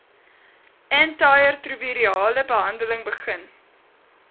antiretrovirale behandeling begin